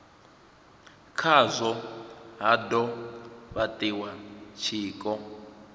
khazwo ha do fhatiwa tshiko